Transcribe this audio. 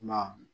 Kuma